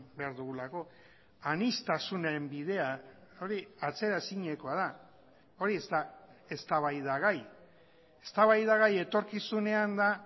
behar dugulako aniztasunaren bidea hori atzeraezinekoa da hori ez da eztabaidagai eztabaidagai etorkizunean da